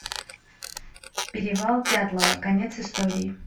перевал дятлова конец истории